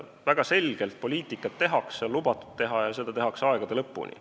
Väga selgelt poliitikat tehakse, on lubatud teha ja tehakse aegade lõpuni.